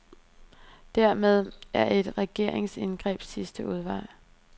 Dermed er et regeringsindgreb sidste udvej.